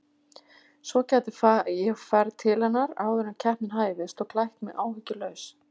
Svo gæti ég farið til hennar áður en keppnin hæfist og klætt mig áhyggjulaus.